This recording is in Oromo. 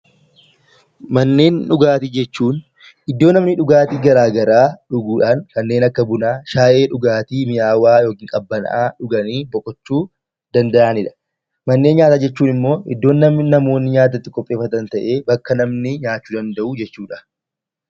Manneen dhugaatii jechuun iddoo namni dhugaatii garaa garaa dhuguu dhaan kanneen akka Bunaa, Shaayii, dhugaatii mi'awaa yookiin qabbanaa'aa dhuganii boqochuu danda'ani dha. Manneen Nyaataa jechuun immoo iddoo namoonni nyaata itti qopheeffatan ta'ee, bakka namni nyaachuu danda'u jechuu dha.